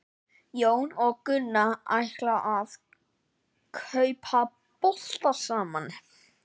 Jón og Gunna ætla að kaupa bolta saman.